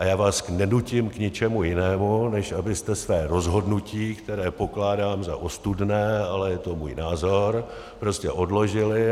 A já vás nenutím k ničemu jinému, než abyste své rozhodnutí, které pokládám za ostudné, ale je to můj názor, prostě odložili.